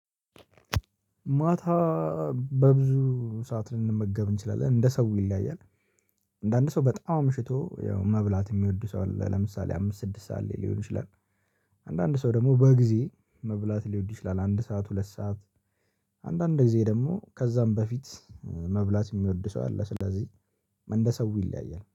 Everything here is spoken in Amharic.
ማታ በብዙ ሰዓት ልንመገብ እንችላለን እንደ ሰው ይለያያል። አንዳንድ ሰው በጣም አምሽቶ ያው መብላት የሚወዱ ሰው አለ። ለምሳሌ አምስት ስድስት ሰዓት ሊሆን ይችላል። አንዳንድ ሰው ደግሞ በጊዜ መብላት ሊወድ ይችላል አንድ ሰዓት ሁለት ሰዓት። አንዳንድ ጊዜ ደግሞ ከዛም በፊት መብላት የሚወድ ሰው አለ። ስለዚህ እንደ ሰው ይለያያል